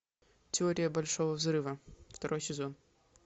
теория большого взрыва второй сезон